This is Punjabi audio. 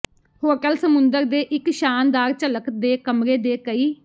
ਹੋਟਲ ਸਮੁੰਦਰ ਦੇ ਇੱਕ ਸ਼ਾਨਦਾਰ ਝਲਕ ਦੇ ਕਮਰੇ ਦੇ ਕਈ